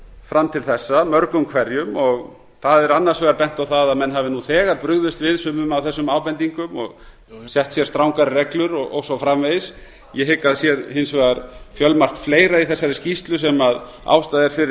fram til þessa mörgum hverjum það er annars vegar bent á það að menn hafi nú þegar brugðist við sumir af þessum ábendingum og sett sér strangari reglur og svo framvegis ég hygg að sé hins vegar fjölmargt fleira í þessari skýrslu sem ástæða er fyrir lífeyrissjóðina